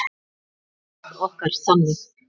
Líf okkar þannig?